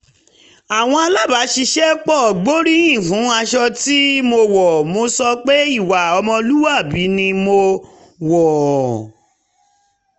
àwọn alábàṣiṣẹ́pọ̀ gbóríyìn fún aṣọ tí mo wọ̀ mo sọ pé ìwà ọmọlúwàbí ni mo wọ̀ ọ́